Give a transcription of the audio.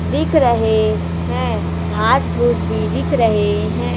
दिख रहे हैं घास भुज भी दिख रहे हैं।